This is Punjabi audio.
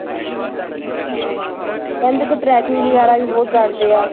ਹਾਂ ਹਾਂ, ਕਹਿੰਦੇ ਉੱਥੇ trekking ਵਗ਼ੈਰਾ ਵੀ ਬਹੁਤ ਕਰਦੇ ਆ,